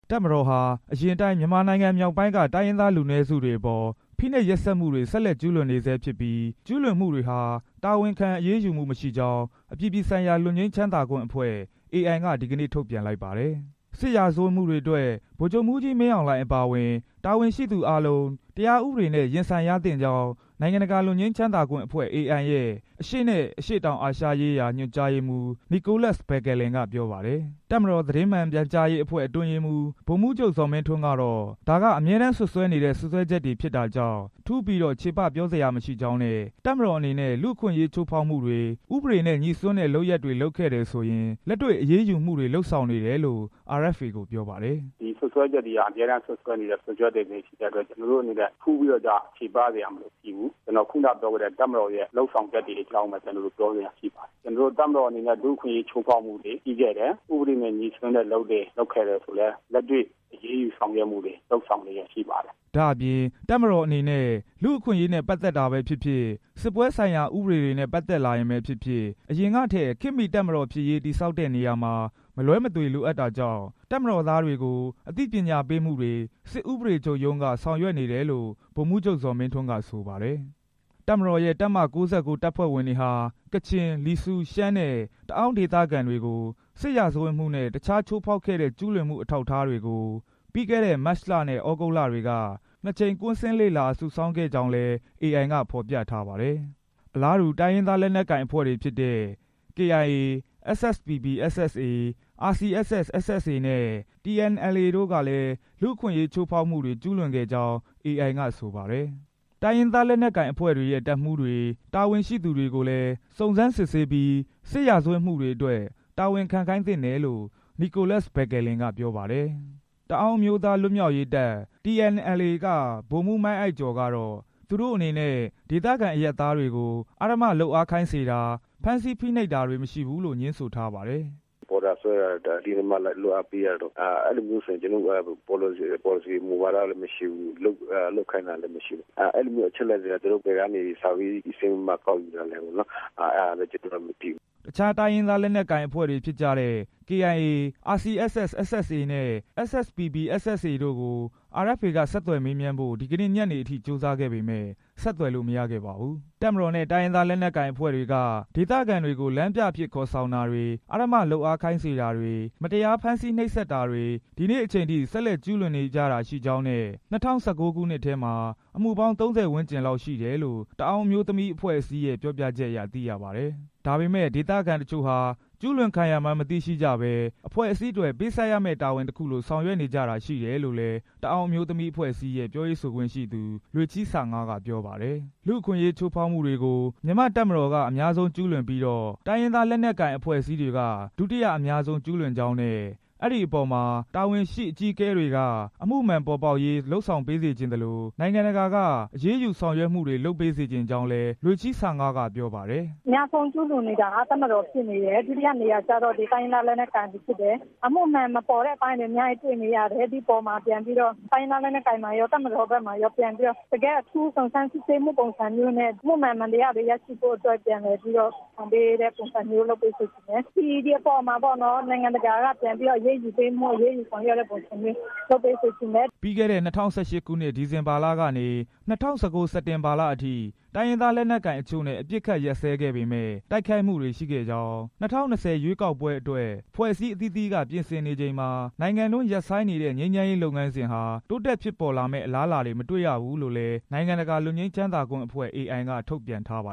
တပ်မတော်ဟာ အရင်အတိုင်း မြန်မာနိုင်ငံမြောက်ပိုင်းက တိုင်းရင်းသားလူအနည်းစုတွေအပေါ် ဖိနှိပ်ရက်စက် မှုတွေကို ဆက်လက်ကျူးလွန်နေဆဲဖြစ်ပြီး ကျူးလွန်မှုတွေဟာ တာဝန်ခံအရေးယူမှုမရှိကြောင်း အပြည်ပြည်ဆိုင်ရာ လွတ်ငြိမ်းချမ်းသာခွင့်အဖွဲ့ AI က ဒီကနေ့ ထုတ်ပြန်လိုက်ပါတယ်။ စစ်ရာဇဝတ်မှုတွေအတွက် ဗိုလ်ချုပ်မှူးကြီးမင်းအောင်လှိုင် အပါအဝင် တာဝန်ရှိသူအားလုံး တရားဥပဒေနဲ့ ရင်ဆိုင် ရသင့်ကြောင်း နိုင်ငံတကာ လွတ်ငြိမ်းချမ်းသာခွင့်အဖွဲ့ AI ရဲ့ အရှေ့နဲ့ အရှေ့တောင်အာရှရေးရာ ညွန်ကြားရေးမှူး နီကိုလပ်စ် ဘက်ကယ်လင်က ပြောပါတယ်။ တပ်မတော် သတင်းမှန်ပြန်ကြားရေးအဖွဲ့ အတွင်းရေးမှူး ဗိုလ်မှူးချုပ် ဇော်မင်းထွန်းကတော့ ဒါက အမြဲတမ်းစွပ်စွဲနေ တဲ့ စွပ်စွဲချက်တွေဖြစ်တာကြောင့် ထူးပြီးတော့ ချေပစရာမရှိကြောင်းနဲ့ တပ်မတော်အနေနဲ့ လူ့အခွင့်အရေးချိုးဖောက် မှုတွေ၊ ဥပေဒေနဲ့ ငြိစွန်းတဲ့အလုပ်တွေ လုပ်ခဲ့တယ်ဆိုရင်လည်း လက်တွေ့အရေးယူမှုတွေ လုပ်ဆောင်နေတယ်လို့ RFA ကို ပြောပါတယ်။ "ဒီစွပ်စွဲချက်တွေဟာ အမြဲတမ်းစွပ်စွဲနေတဲ့ စွပ်စွဲချက်တွေဖြစ်တဲ့ အတွက် ကျွန်တော်တို့အနေနဲ့ ထူးပြီးတော့ ချေပစရာမရှိဘူး။ ကျွန်တော် ခုနကပြောခဲ့တဲ့ တပ်မတော်ရဲ့ လုပ်ဆောင်ချက်တွေ အကြောင်းပဲ ပြောစရာရှိတယ်။ တပ်မတော်အနေနဲ့ လူ့အခွင့်အရေး ချိုးဖောက်မှုတွေရှိခဲ့တယ်၊ ဥပေဒနဲ့ ငြိစွန်းတဲ့အလုပ်တွေ လုပ်ခဲ့တယ် ဆိုရင်လည်း လက်တွေ့အရေးယူဆောင်ရွက်မှုတွေ လုပ်ဆောင်နေ တာရှိပါတယ်" ဒါ့အပြင် တပ်မတော်အနေနဲ့ လူ့အခွင့်အရေးနဲ့ ပတ်သက်တာပဲဖြစ်ဖြစ်၊ စစ်ပွဲဆိုင်ရာ ဥပေဒတွေနဲ့ ပတ်သက်လာရင်ပဲဖြစ်ဖြစ် အရင်ကထက် ခေတ်မီတပ်မတော်ဖြစ်ရေး တည်ဆောက်တဲ့နေရာမှာ မလွဲမသွေ လိုအပ်တာကြောင့် တပ်မတော်သားတွေကို အသိပညာပေးမှုတွေကို စစ်ဥပဒေချုပ်ရုံးက ဆောင်ရွက်နေတယ်လို့ ဗိုလ်မှူးချုပ် ဇော်မင်းထွန်း ကဆိုပါတယ်။ တပ်မတော်ရဲ့ တပ်မ ၉၉ တပ်ဖွဲ့ဝင်တွေဟာ ကချင်၊ လီဆူး၊ ရှမ်းနဲ့ တအောင်း ဒေသခံတွေကို စစ်ရာဇဝတ်မှုနဲ့ တခြားချိုးဖောက်ခဲ့တဲ့ ကျူးလွန်မှုအထောက်အထားတွေကို ပြီးခဲ့တဲ့ မတ်လနဲ့ သြဂုတ်လတွေက နှစ်ကြိမ် ကွင်းဆင်းလေ့လာစုဆောင်းခဲ့ကြောင်းလည်း AI က ဖော်ပြထားပါတယ်။ အလားတူ တိုင်းရင်းသားလက်နက်ကိုင်အဖွဲ့တွေဖြစ်တဲ့ ကချင်လွတ်မြောက်ရေးတပ်ဖွဲ့ KIA၊ SSPP/SSA ၊ RCSS/ SSA နဲ့ တအာင်းအမျိုးသား လွတ်မြောက်ရေးတပ်ဖွဲ့ TNLA တို့ကလည်း လူ့အခွင့်ရေးချိုးဖောက်မှုတွေ ကျူးလွန် ခဲ့ကြောင်း AI က ဆိုပါတယ်။ တိုင်းရင်းသားလက်နက်ကိုင်အဖွဲ့တွေရဲ့ တပ်မှူးတွေ၊ တာဝန်ရှိသူတွေကိုလည်း စုံးစမ်းစစ်ဆေးပြီး စစ်ရာဇဝတ်မှုတွေအတွက် တာဝန်ခံခိုင်းသင့်တယ်လို့ နီကိုလပ်စ် ဘက်ကယ်လင် က ပြောပါတယ်။ တအာင်းအမျိုးသား လွတ်မြောက်ရေးတပ် TNLA က ဗိုလ်မှူး မိုင်းအိုက်ကျော် ကတော့ သူတို့အနေနဲ့ ဒေသခံအရပ်သားတွေကို အဓမ္မလုပ်အားခိုင်းစေတာ၊ ဖမ်းဆီးနှိပ်စက်တာတွေ မရှိဘူးလို့ ငြင်းဆိုပါတယ်။ "ပေါ်တာဆွဲတာတို့၊ အတင်းအဓမ္မ လုပ်အားစေခိုင်းမှုတွေ အဲဒီလို မူဝါဒလည်းမရှိဘူး၊ လုပ်ခိုင်းတာလည်းမရှိဘူး။ အဲဒီလိုအချက် အလက်တွေက သူတို့ဘယ်ကနေ ဆာဗေးဆင်းပြီး အချက် အလက်တွေ ကောက်ယူသလဲဆိုတာ ကျွန်တော်တို့ အဲဒါတွေလည်း မသိဘူး။" တခြားတိုင်းရင်းသားလက်နက်ကိုင်အဖွဲ့တွေဖြစ်တဲ့ KIA၊ RCSS/SSA၊ SSPP/SSA တို့ကို RFA က ဆက်သွယ်မေးမြန်းဖို့ ဒီနေ့ ညနေအထိ ကြိုးစားခဲ့ပေမယ့် ဆက်သွယ်လို့ မရခဲ့ပါဘူး။ တပ်မတော်နဲ့ တိုင်းရင်းသားလက်နက်ကိုင်အဖွဲ့တွေက ဒေသခံတွေ ကို လမ်းပြအဖြစ် ခေါ်ဆောင်တာတွေ၊ အဓမ္မလုပ်အားခိုင်းစေတာ၊ မတရားဖမ်းဆီးနှိပ်စက်တာတွေ ဒီနေ့အချိန်ထိ ဆက်လက်ကျူး လွန်နေကြတယ်ရှိကြောင်းနဲ့ ၂၀၁၉ ခုနှစ်ထဲမှာ အမှုပေါင်း ၃၀ ဝန်းကျင်ရှိတယ်လို့ တအာင်းအမျိုးသမီးအဖွဲ့ရဲ့ ပြောပြချက်အရသိရပါတယ်။ ဒါပေမဲ့ ဒေသခံတချို့ဟာ ကျူးလွန်ခံရမှန်း မသိရှိကြဘဲ အဖွဲ့အစည်းအတွက် ပေးဆပ်ရမယ့်တာဝန်တစ်ခုလို ဆောင်ရွက်နေကြတာရှိတယ်လို့လည်း တအောင်းအမျိုးသမီးအဖွဲ့အစည်းရဲ့ ပြောရေးဆိုခွင့်ရှိသူ လွေးချီဆငါး က ပြောပါတယ်။ အများဆုံးကျူးလွန်တာ တပ်မတော်ဖြစ်တယ်၊ ဒုတိယက တိုင်းရင်းသားလက်နက်ကိုင်တွေဖြစ်တယ် လူ့အခွင့်ရေးချိုးဖောက်မှုတွေကို မြန်မာ့တပ်မတော်က အများဆုံးကျူးလွန်ပြီးတော့ တိုင်းရင်းသားလက်နက်ကိုင် အဖွဲ့အစည်းတွေက ဒုတိယအများဆုံး ကျူးလွန်ကြောင်းနဲ့ အဲဒီပေါ်မှာ တာဝန်ရှိအကြီးအကဲတွေက အမှုမှန်ပေါ်ပေါက်ရေး လုပ်ဆောင်ပေးစေချင်သလို နိုင်ငံတကာက အရေးယူဆောင် ရွက်မှုတွေ လုပ်ပေးစေချင်ကြောင်း လွေးချီဆငါး က ပြောပါတယ်။ "အများဆုံးကျူးလွန်နေတာက တပ်မတော် ဖြစ်နေတယ်၊ ဒုတိယနေရာကျတော့ တိုင်းရင်း သားလက်နက် ကိုင်တွေဖြစ်တယ်။ အမှုမှန်မပေါ်တဲ့အပိုင်းတွေ အများကြီးတွေ့နေရတယ်။ ဒီအပေါ်မှာ ပြန်ပြီးတော့ တိုင်းရင်း သားလက်နက်ကိုင်မှာရော၊ တပ်မတော်ဘက်မှာရော ပြန်ပြီးတော့ အထူးစုံစမ်းစစ်ဆေးမှုပုံစံနဲ့ အမှုမှန် အမှန် တရားတွေရရှိဖို့ လုပ်ဆောင်ပေးတဲ့ပုံစံမျိုး လုပ်ဆောင်စေချင်တယ်။ ဒီအပေါ်မှာပေါ့နော် နိုင်ငံတကာက ပြန်ပြီး အရေးယူဆောင်ရွက်တာမျိုး လုပ်ဆောင်စေချင်တယ်။" ပြီးခဲ့တဲ့ ၂၀၁၈ ခုနှစ် ဒီဇင်ဘာလကနေ ၂၀၁၉ စက်တင်ဘာလအထိ တိုင်းရင်းသားလက်နက်ကိုင်အချို့နဲ့ အပစ်အခတ်ရပ်စဲခဲ့ပေမယ့် တိုက်ခိုက်မှုတွေရှိခဲ့ကြောင်း၊ ၂၀၂၀ ရွေးကောက်ပွဲအတွက် အဖွဲ့အစည်းအသီးသီးက ပြင်ဆင်နေချိန်မှာ နိုင်ငံအတွင်း ရပ်ဆိုင်းနေတဲ့ ငြိမ်းချမ်းရေးလုပ်ငန်းစဉ်ဟာ တိုးတက်ဖြစ်ပေါ်လာမယ့် အလားအလာတွေ မတွေ့ရဘူးလို့လည်း နိုင်ငံတကာ လွတ်ငြိမ်းချမ်းသာခွင့်ဖွဲ့ AI က ထုတ်ပြန်ထားပါ